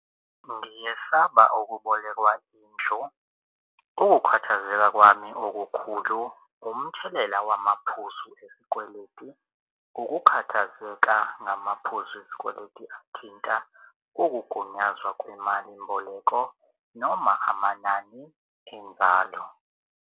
Ngiyesaba ukubolekwa indlu ukukhathazeka kwami okukhulu umthelela wamaphuzu esikweletu ukukhathazeka ngamaphuzu esikweleti thinta ukugunyazwa kwemalimboleko noma amanani enzalo.